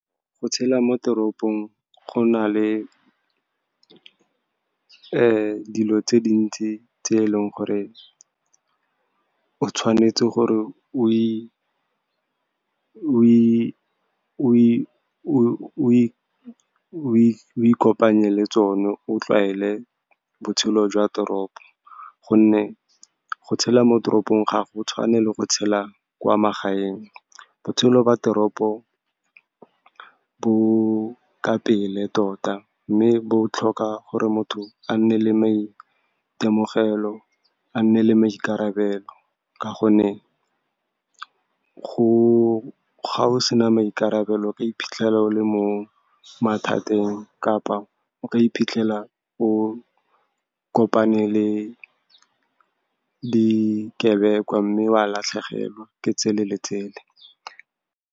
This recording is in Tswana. Go tshela mo teropong, go na le dilo tse dintsi tse e leng gore o tshwanetse gore o ikopanye le tsone, o tlwaele botshelo jwa teropo, gonne go tshela mo toropong ga go tshwane le go tshela kwa magaeng. Botshelo ba teropo bo ka pele tota, mme bo tlhoka gore motho a nne le maitemogelo, a nne le maikarabelo, ka gonne ga o sena maikarabelo, o ka iphitlhela o le mo mathateng, kapa o ka iphitlhela o kopane le dikebekwa, mme wa latlhegelwa ke tsele le tsele.